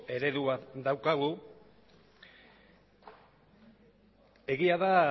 eredu bat daukagu egia da